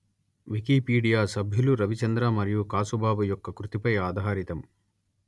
Wikipedia సభ్యులు రవిచంద్ర మరియు కాసుబాబు యొక్క కృతిపై ఆధారితం